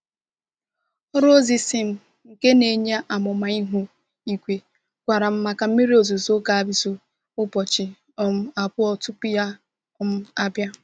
Ọrụ ozi SMS nke na-enye amụma ihu igwe gwara m maka mmiri ozuzo ga-ezo ụbọchị um abụọ tupu ya um abịa.